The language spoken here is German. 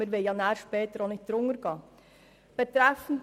Schliesslich wollen wir die SKOS-Richtlinien später nicht unterschreiten.